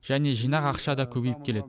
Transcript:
және жинақ ақша да көбейіп келеді